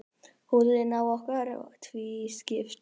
Húðin á okkur er tvískipt.